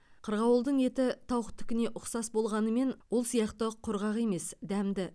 қырғауылдың еті тауықтыкіне ұқсас болғанымен ол сияқты құрғақ емес дәмді